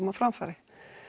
á framfæri